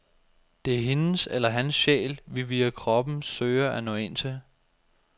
Det er hendes eller hans sjæl, vi via kroppen søger at nå ind til.